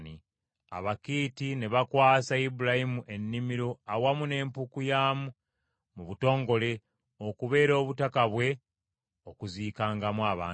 Abakiiti ne bakwasa Ibulayimu ennimiro awamu n’empuku yaamu mu butongole okubeera obutaka bwe okuziikangamu abantu be.